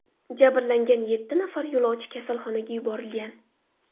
Jabrlangan yetti nafar yo‘lovchi kasalxonaga yuborilgan.